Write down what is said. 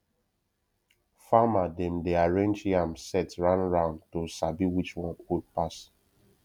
farmer dem dey arrange yam sett roundround to sabi which one old pass